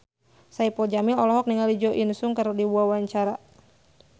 Saipul Jamil olohok ningali Jo In Sung keur diwawancara